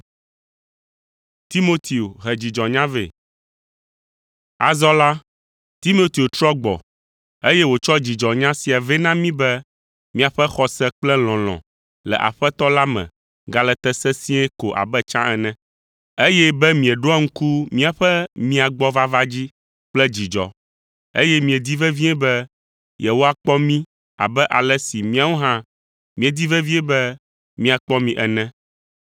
Azɔ la, Timoteo trɔ gbɔ, eye wòtsɔ dzidzɔnya sia vɛ na mí be miaƒe xɔse kpe lɔlɔ̃ le Aƒetɔ la me gale te sesĩe ko abe tsã ene, eye be mieɖoa ŋku míaƒe mia gbɔ vava dzi kple dzidzɔ, eye miedi vevie be yewoakpɔ mí abe ale si míawo hã míedi vevie be míakpɔ mi ene.